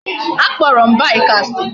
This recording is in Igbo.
A kporo m bike asi